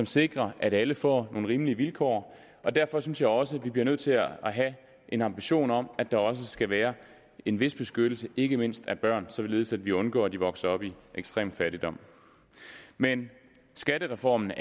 sikre at alle får nogle rimelige vilkår og derfor synes jeg også vi bliver nødt til at have en ambition om at der skal være en vis beskyttelse ikke mindst af børn således at vi undgår at de vokser op i ekstrem fattigdom men skattereformen